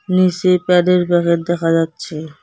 নিসে প্যাডের প্যাহেট দেখা যাচ্ছে।